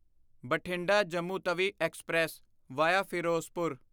Bathinda Jammu Tawi express via Firozpur